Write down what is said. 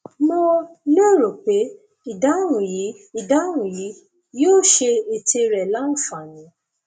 mo lérò pé ìdáhùn yìí ìdáhùn yìí yóò ṣe ète rẹ láǹfààní